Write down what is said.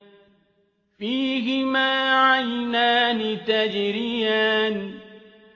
فِيهِمَا عَيْنَانِ تَجْرِيَانِ